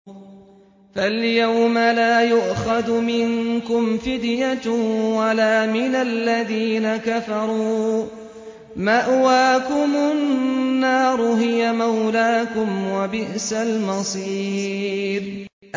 فَالْيَوْمَ لَا يُؤْخَذُ مِنكُمْ فِدْيَةٌ وَلَا مِنَ الَّذِينَ كَفَرُوا ۚ مَأْوَاكُمُ النَّارُ ۖ هِيَ مَوْلَاكُمْ ۖ وَبِئْسَ الْمَصِيرُ